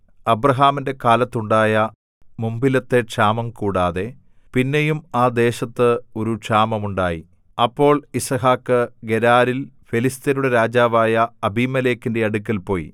അബ്രാഹാമിന്റെ കാലത്തുണ്ടായ മുമ്പിലത്തെ ക്ഷാമം കൂടാതെ പിന്നെയും ആ ദേശത്ത് ഒരു ക്ഷാമം ഉണ്ടായി അപ്പോൾ യിസ്ഹാക്ക് ഗെരാരിൽ ഫെലിസ്ത്യരുടെ രാജാവായ അബീമേലെക്കിന്റെ അടുക്കൽ പോയി